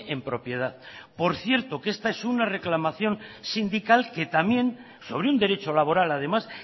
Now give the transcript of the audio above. en propiedad por cierto que esta es una reclamación sindical que también sobre un derecho laboral además